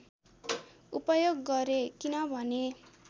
उपयोग गरे किनभने